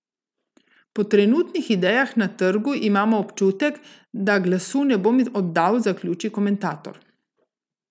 Po trenutnih idejah na trgu imam občutek, da glasu ne bom oddal, zaključi komentator.